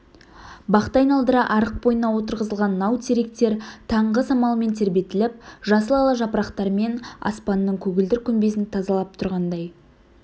бақты айналдыра арық бойына отырғызылған нау теректер таңғы самалмен тербетіліп жасыл ала жапырақтармен аспанның көгілдір күмбезін тазалап тұрғандай